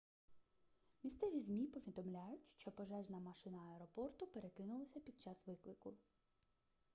місцеві змі повідомляють що пожежна машина аеропорту перекинулася під час виклику